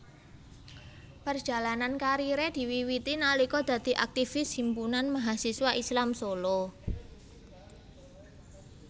Perjalanan kariere diwiwiti nalika dadi aktivis Himpunan Mahasiswa Islam Solo